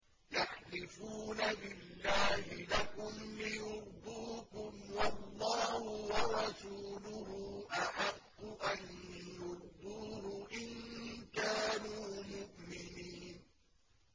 يَحْلِفُونَ بِاللَّهِ لَكُمْ لِيُرْضُوكُمْ وَاللَّهُ وَرَسُولُهُ أَحَقُّ أَن يُرْضُوهُ إِن كَانُوا مُؤْمِنِينَ